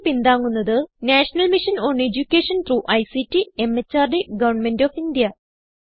ഇതിനെ പിന്താങ്ങുന്നത് national mission on education through ICT MHRD government of India